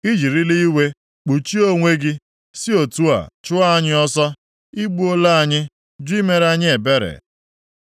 “I jirila iwe kpuchie onwe gị, si otu a chụọ anyị ọsọ. I gbuola anyị, jụ imere anyị ebere.